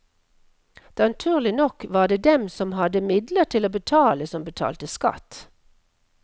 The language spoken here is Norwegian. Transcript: Naturlig nok var det dem som hadde midler til å betale som betalte skatt.